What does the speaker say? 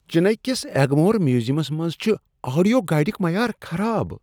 چنئی کس ایگمور میوزیمس منٛز چھ آڈیو گائیڈک معیار خراب۔